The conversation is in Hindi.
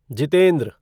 जितेंद्र